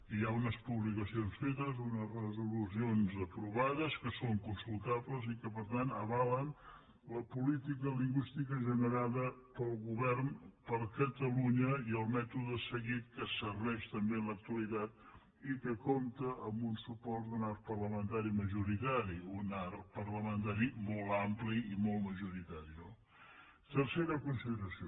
hi ha unes publicacions fetes unes resolucions aprovades que són consultables i que per tant avalen la política lingüística generada pel govern per catalunya i el mètode seguit que serveix també en l’actualitat i que compta amb un suport d’un arc parlamentari majoritari un arc parlamentari molt ampli i molt majoritari no tercera consideració